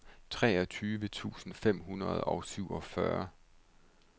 treogtyve tusind fem hundrede og syvogfyrre